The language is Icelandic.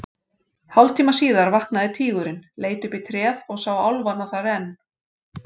Hálftíma síðar vaknaði tígurinn, leit upp í tréð og sá álfana þar enn.